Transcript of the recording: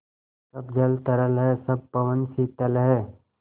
सब जल तरल है सब पवन शीतल है